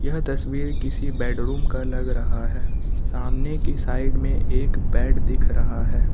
यह तस्वीर किसी बेडरूम का लग रहा है सामने की साइड में एक बेड दिख रहा है।